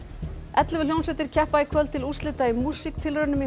ellefu hljómsveitir keppa í kvöld til úrslita í músíktilraunum í